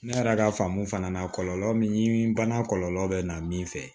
Ne yɛrɛ ka faamu fana na kɔlɔlɔ min yir'i bana kɔlɔlɔ bɛ na min fɛ